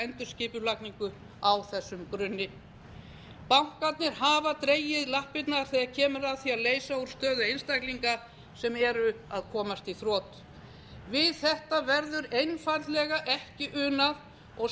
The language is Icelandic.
endurskipulagningu á þessum grunni bankarnir hafa dregið lappirnar þegar kemur að því að leysa úr stöðu einstaklinga sem eru að komast í þrot við þetta verður einfaldlega ekki unað og